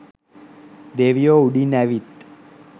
දෙවියෝ උඩින් ඇවිත්